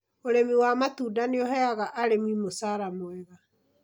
Ũrĩmi wa matunda nĩ ũheaga arĩmi mũcara mwega.